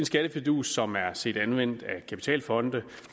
skattefidus som er set anvendt af kapitalfonde